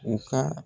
U ka